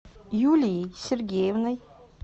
юлией сергеевной